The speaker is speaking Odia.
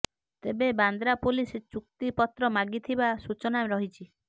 ତେବେ ବାନ୍ଦ୍ରା ପୁଲିସ ଚୁକ୍ତି ପତ୍ର ମାଗିଥିବା ସୂଚନା ରହିଛି